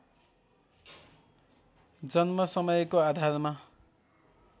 जन्म समयको आधारमा